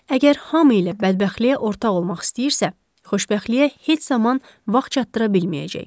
əgər hamı ilə bədbəxtliyə ortaq olmaq istəyirsə, xoşbəxtliyə heç zaman vaxt çatıra bilməyəcək.